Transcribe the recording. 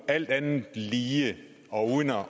alt andet lige